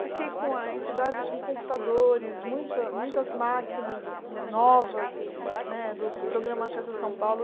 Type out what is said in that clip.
Fiquei com a entidade com computadores, muitas muitas máquinas novas né do programa Acessa São Paulo.